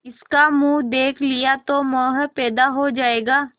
इसका मुंह देख लिया तो मोह पैदा हो जाएगा